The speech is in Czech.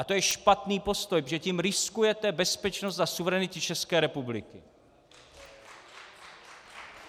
A to je špatný postoj, protože tím riskujete bezpečnost a suverenitu České republiky.